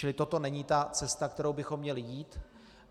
Čili toto není ta cesta, kterou bychom měli jít.